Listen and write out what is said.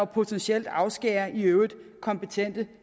potentielt afskærer i øvrigt kompetente